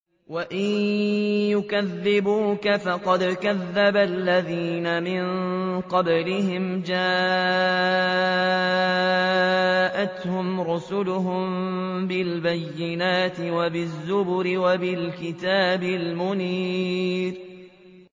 وَإِن يُكَذِّبُوكَ فَقَدْ كَذَّبَ الَّذِينَ مِن قَبْلِهِمْ جَاءَتْهُمْ رُسُلُهُم بِالْبَيِّنَاتِ وَبِالزُّبُرِ وَبِالْكِتَابِ الْمُنِيرِ